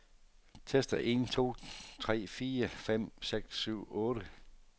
Tester en to tre fire fem seks syv otte.